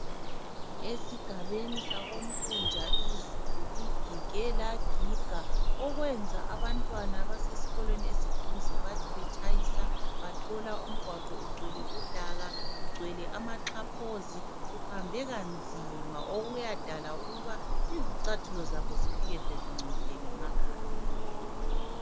Esigabeni sakoNtunja izulu ligige lagiga okwenza abantwana abasesikolweni esiduze bathi betshayisa bathola umgwaqo ugcwele udaka, ugcwele amaxhaphozi uhambeka nzima okuyadala ukuba izicathulo zabo zifike sezingcolile ngemakhaya.